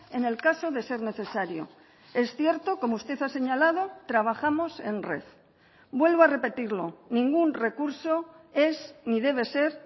en el caso de ser necesario es cierto como usted ha señalado trabajamos en red vuelvo a repetirlo ningún recurso es ni debe ser